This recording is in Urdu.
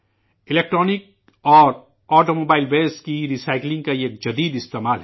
الیکٹرونک اور آٹو موبائل فضلہ کی ری سائیکلنگ کا یہ اختراعی استعمال ہے